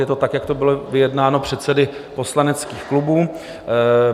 Je to tak, jak to bylo vyjednáno předsedy poslaneckých klubů.